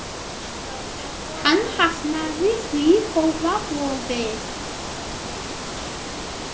Hann hafnaði því góða boði.